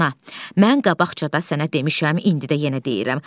Ana, mən qabaqca da sənə demişəm, indi də yenə deyirəm.